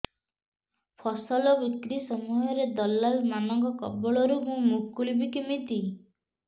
ଫସଲ ବିକ୍ରୀ ସମୟରେ ଦଲାଲ୍ ମାନଙ୍କ କବଳରୁ ମୁଁ ମୁକୁଳିଵି କେମିତି